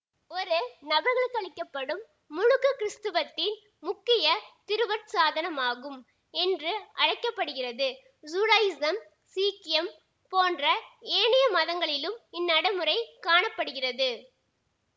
ஒரு நபருக்களிக்கப்படும் முழுக்குகிறிஸ்துவத்தின் முக்கிய திருவருட்சாதனமாகும் என்று அழைக்க படுகிறது ஜூடாயிஸம் சீக்கியம் போன்ற ஏனைய மதங்களிலும் இந்நடைமுறை காண படுகிறது